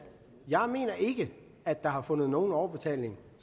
jeg mener ikke at der har fundet nogen overbetaling